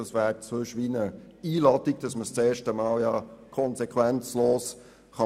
Sonst wäre es wie eine Einladung, dass man sich ohne Konsequenzen einmal so verhalten kann.